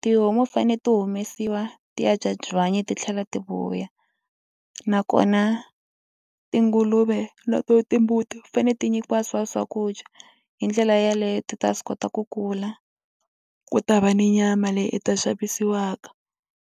tihomu fanele ti humesiwa ti ya dya byanyi ti tlhela ti vuya nakona tinguluve na to timbuti ti fanele ti nyikiwa swa swakudya hi ndlela yaleyo ti ta swi kota ku kula ku ta va ni nyama leyi i ta xavisiwaka.